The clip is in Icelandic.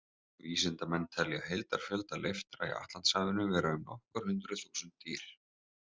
Vísindamenn telja heildarfjölda leiftra í Atlantshafinu vera um nokkur hundruð þúsund dýr.